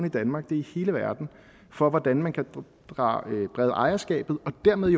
i danmark det er i hele verden for hvordan man kan brede ejerskabet og dermed